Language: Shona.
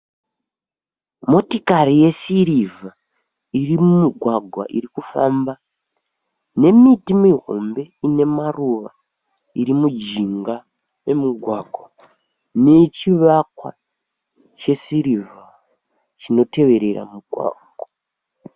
Motikari yesirivha iri mumugwagwa irikufamba nemiti mihombe inemaruva iri mujinga memugwagwa nechivakwa chesirivha chinoteverera mugwagwa.